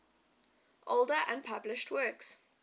older unpublished works